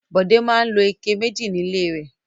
Bọ̀dé máa ń lo ike méjì nílé rẹ̀.